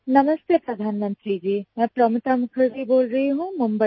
नमस्ते प्रधानमंत्री जी मैं प्रोमिता मुखर्जी बोल रही हूँ मुंबई से